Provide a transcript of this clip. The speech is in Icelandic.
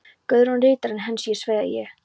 Guðrún ritarinn hans, og svo ég.